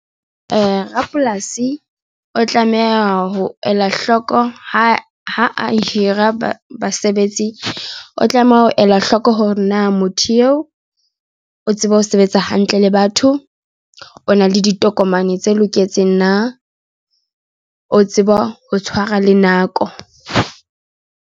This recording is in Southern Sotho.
Rapolasi o tlameha ho ela hloko ha hira basebetsi o tlameha ho ela hloko hore na motho eo o tsebe ho sebetsa hantle le batho o na le ditokomane tse loketseng na o tseba ho tshwara le nako.